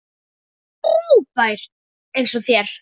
Frábær eins og þér.